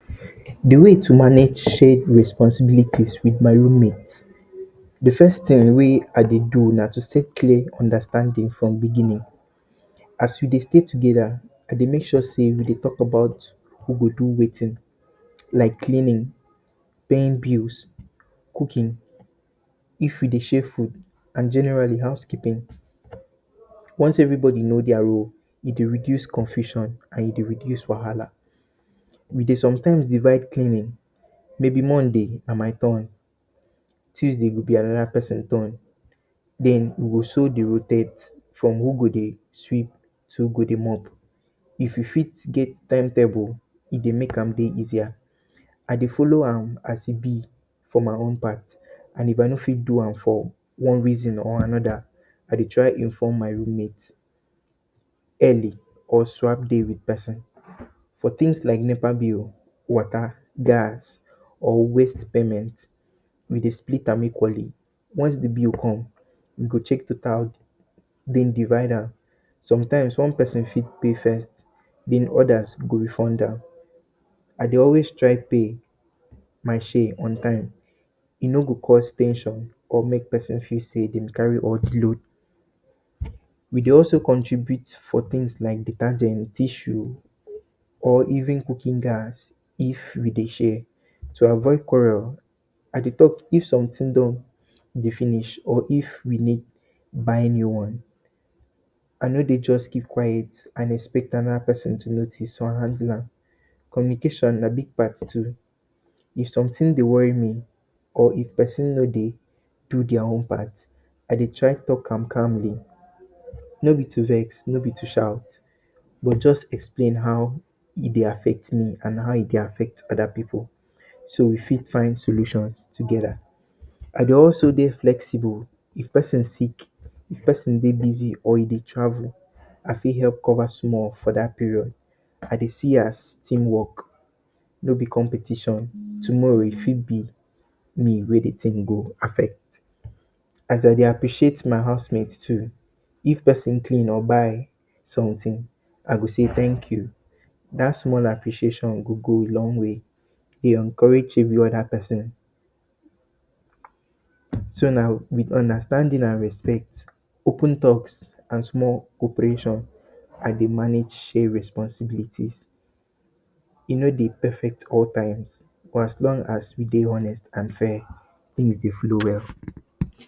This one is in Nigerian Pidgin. De way to manage shared responsibilities with my roommate de first thing wey I dey do na to state clear understanding from beginning, as we dey stay together I de make sure sey we dey talk about who go do wetin like cleaning, paying bills, cooking if we dey share food and generally house keeping. Once every body know their roles e dey reduce confusion and e de reduce wahala, we de sometimes de divide cleaning maybe Monday go be my turn, Tuesday go be another person turn so we go so dey rotate from who go de sweep to who go de mop if we fit get time table e de make am de easier. I dey follow am as e be for my own part and if I no fit do am for one reason or another I de try inform my roommate early or swap days with others. For things like nepa bills, water, gas or waste payment we de spilt am equally once de bill come, we de check total den divide am some times one person fit pay first then others go refund am. I dey always try pay my share on time e no go cause ten sion or make person fel sey e dey carry load. We dey also contribute for things like detergents, tissue or even cooking gas if we dey share to avoid I dey talk if something don e dey finish or if we need buy new ones I no de just keep quite and expect another person to notice so I go handle am. Communication na big part too if somethings dey worry me or if person no dey do their own part I dey try talk to am calmly no be to vex, no be to shout na too just explain how e dey affect me and how e de affect other pipu so we fit find solutions together I dey also de flexible if person sick dem, if person de busy or e de travel I fit help cover small for that period I de see as team work no be competition tomorrow e fit be me wey de thing go affect as I dey appreciate my housemate too, if person clean or buy something I go sey thank you that small appreciation go go a long way de encourage every other person so now na with understanding and respect, open talks and small operation I de manage share responsibility e no de perfect all times for as long as we de honest and fair things de flow well